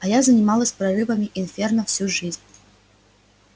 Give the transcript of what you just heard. а я занималась прорывами инферно всю жизнь